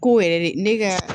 Ko yɛrɛ de ne ka